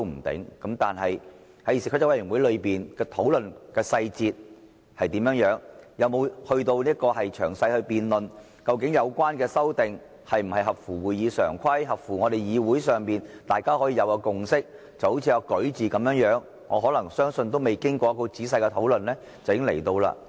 但是，在議事規則委員會裏面討論細節是怎樣，有沒有詳細辯論，究竟有關修訂是否合乎《議事規則》，合乎議會上大家達到的共識，就好像"擧"字一樣，可能未經過仔細討論，便已經提交了。